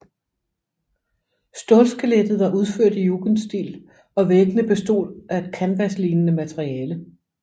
Stålskelettet var udført i jugendstil og væggene bestod af et kanvaslignende materiale